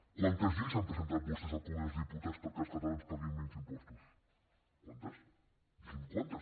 quantes lleis han presentat vostès al congrés dels diputats perquè els catalans paguin menys impostos quantes digui’m quantes